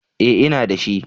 E, ina da shi.